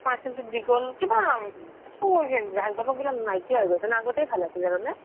parcel টো দি গ'ল কিবা একো জা জমক বিলাক নাইকিয়া হৈ গৈছে আগতেই ভাল আছিল জানা নে